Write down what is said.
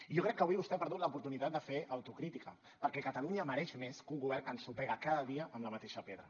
i jo crec que avui vostè ha perdut l’oportunitat de fer autocrítica perquè catalunya mereix més que un govern que ensopega cada dia amb la mateixa pedra